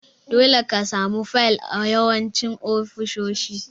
Dole ka samu fayil a yawancin ofisoshi.